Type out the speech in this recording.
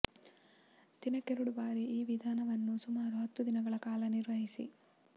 ದಿನಕ್ಕೆರಡು ಬಾರಿ ಈ ವಿಧಾನವನ್ನು ಸುಮಾರು ಹತ್ತು ದಿನಗಳ ಕಾಲ ನಿರ್ವಹಿಸಿ